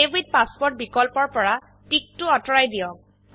save with password বিকল্পৰ পৰা টিকটো অতৰুৱাই দিয়ক